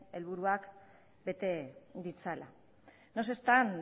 helburuak bete ditzala no se están